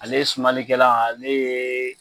Ale sumalikɛlan ale yee